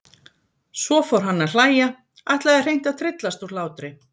Svo fór hann að hlæja, ætlaði hreint að tryllast úr hlátri.